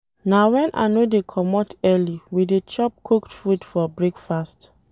Na wen I no dey comot early we dey chop cooked food for breakfast.